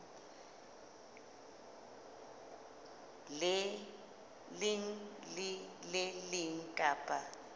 leng le le leng kapa